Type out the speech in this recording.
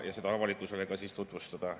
… ja seda avalikkusele tutvustada.